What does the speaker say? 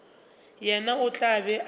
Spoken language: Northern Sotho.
yena o tla be a